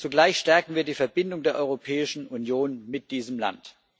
Zugleich stärken wir die Verbindung der Europäischen Union mit diesem Land.